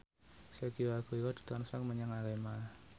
Sergio Aguero ditransfer menyang Arema